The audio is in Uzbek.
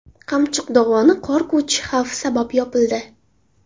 Qamchiq dovoni qor ko‘chishi xavfi sabab yopildi.